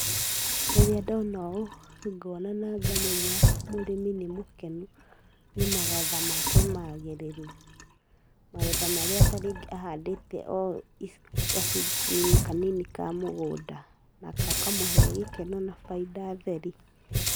Rĩrĩa ndona ũũ, ngona na ngamenya mũrĩmi nĩ mũkenu nĩ magetha make magĩrĩru, magetha marĩa ta rĩngĩ ahandĩte o gacunjĩ-inĩ kanini ka mũgũnda na gakamũhe gĩkeno na bainda theri.